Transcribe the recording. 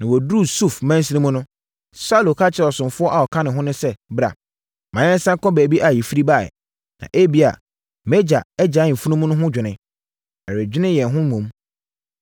Na wɔduruu Suf mansini mu no, Saulo ka kyerɛɛ ɔsomfoɔ a ɔka ne ho no sɛ, “Bra, ma yɛnsane nkɔ baabi a yɛfiri baeɛ, na ebia, mʼagya agyae mfunumu no ho dwene, ɛredwene yɛn ho mmom.”